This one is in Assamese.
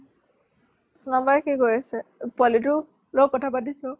কি কৰি আছে ? আ পোৱালীতো ? কথা পাতিছ ?